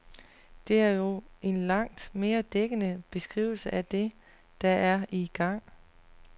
Det er jo en langt mere dækkende beskrivelse af det, der er i gang.